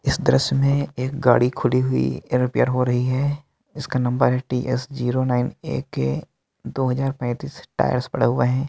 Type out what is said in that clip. इस दृश्य में एक गाड़ी खुली हुई रिपेयर हो रही है इसका नंबर है टी_एस जीरो नाइन एके दो हजार पैंतीस टायर्स पड़ा हुए है।